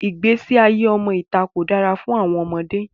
Igbesi aye ọmọ ita ko dara fun àwọn ọmọde.